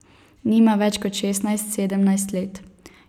Nima več kot šestnajst, sedemnajst let.